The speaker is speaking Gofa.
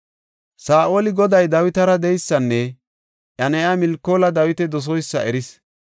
Saa7oli Goday Dawitara de7eysanne iya na7iya Milkoola Dawita doseysa eris.